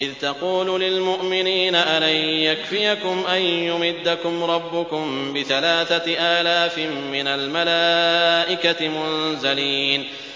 إِذْ تَقُولُ لِلْمُؤْمِنِينَ أَلَن يَكْفِيَكُمْ أَن يُمِدَّكُمْ رَبُّكُم بِثَلَاثَةِ آلَافٍ مِّنَ الْمَلَائِكَةِ مُنزَلِينَ